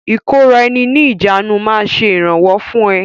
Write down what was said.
ìkóra ẹni níjàánu máa ṣe ìrànwọ́ fún ẹ.